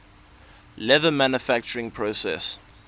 leather manufacturing process